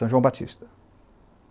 São João Batista.